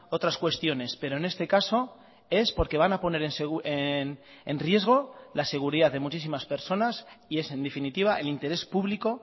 otras cuestiones pero en este caso es porque van a poner en riesgo la seguridad de muchísimas personas y es en definitiva el interés público